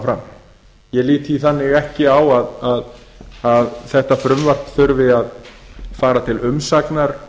fram ég lít því ekki svo á að þetta frumvarp þurfi að fara til umsagnar